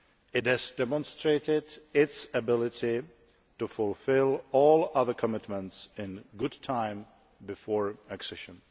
It has demonstrated its ability to fulfil all other commitments in good time before accession.